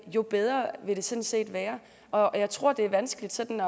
jo bedre vil det sådan set være og jeg tror det er vanskeligt sådan